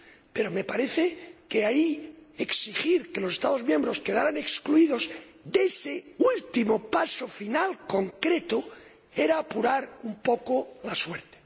Pero me parece que exigir que los Estados miembros queden excluidos de ese último paso final concreto era apurar un poco la suerte.